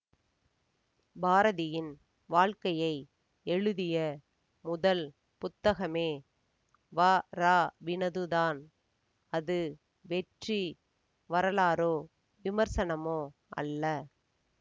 பாரதியின் வாழ்க்கையை எழுதிய முதல் புத்தகமே வராவினதுதான் அது வெற்று வரலாறோ விமர்சனமோ அல்ல